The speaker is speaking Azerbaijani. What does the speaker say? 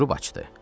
Durub açdı.